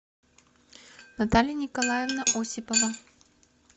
наталья николаевна осипова